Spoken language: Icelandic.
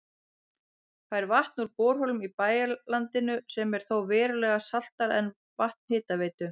Fær vatn úr borholum í bæjarlandinu sem er þó verulega saltara en vatn Hitaveitu